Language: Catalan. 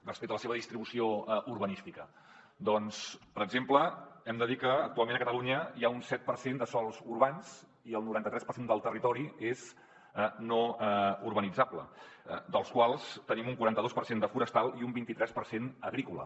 respecte a la seva distribució urbanística doncs per exemple hem de dir que actualment a catalunya hi ha un set per cent de sòls urbans i que el noranta tres per cent del territori és no urbanitzable dels quals en tenim un quaranta dos per cent de forestal i un vint i tres per cent d’agrícola